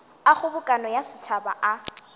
a kgobokano ya setšhaba a